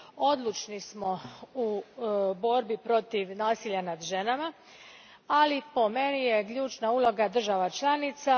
Odlučni smo u borbi protiv nasilja nad ženama, ali po meni je ključna uloga država članica.